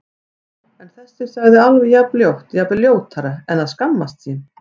Já- en þessi sagði alveg jafn ljótt, jafnvel ljótara En að skammast sín?